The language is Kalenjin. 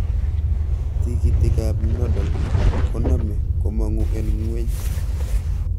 Tikiikikab nodal koname komongu en ng'weny